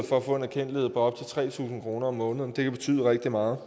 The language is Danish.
for at få en erkendtlighed på op til tre tusind kroner om måneden det kan betyde rigtig meget